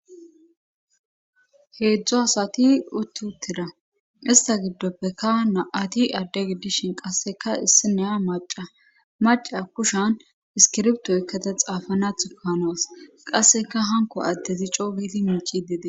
heedzdzu asati utti uttira ista giddoppekka na7ati adde giddishin qasseka issineya maca maca kushan iskirbtoykkata xaafanathu kanoas qasseka hanko addezi co wiidi miici dede